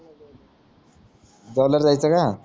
जेवल्यावर जायचं का